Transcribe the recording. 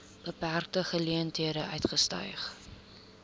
beperkte geleenthede uitgestyg